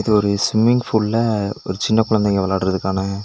இது ஒரு ஸ்விம்மிங் ஃபூல்ல ஒரு சின்ன குழந்தைங்க விளாட்றதுக்கான--